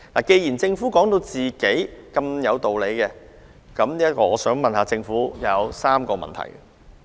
既然政府認為它有充分理據，我向政府提出3個問題。